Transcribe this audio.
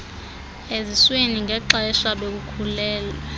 eziswini ngexesha bekhulelwe